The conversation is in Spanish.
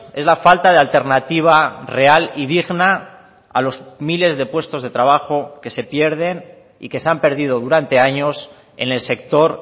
es la falta de alternativa real y digna a los miles de puestos de trabajo que se pierden y que se han perdido durante años en el sector